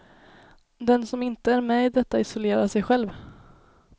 Den som inte är med i detta isolerar sig själv.